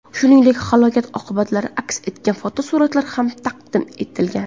Shuningdek, halokat oqibatlari aks etgan fotosuratlar ham taqdim etilgan .